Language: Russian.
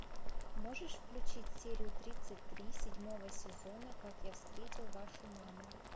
можешь включить серию тридцать три седьмого сезона как я встретил вашу маму